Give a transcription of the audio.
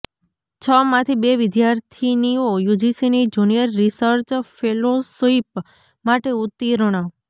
છ માંથી બે વિદ્યાર્થિનીઓ યુજીસીની જુનિયર રિસર્ચ ફેલોશિપ માટે ઉતીર્ણ